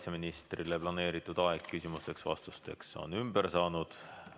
Kaitseministrile planeeritud aeg küsimusteks-vastusteks on ümber saanud.